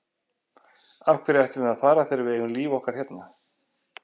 Af hverju ættum við að fara þegar við eigum okkar líf hérna?